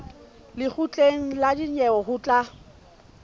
lekgotleng la dinyewe ho tla